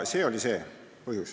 See oli see põhjus.